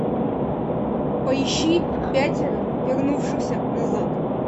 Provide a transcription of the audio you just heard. поищи пятеро вернувшихся назад